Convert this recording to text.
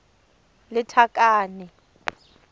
lethakane